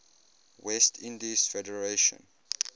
west indies federation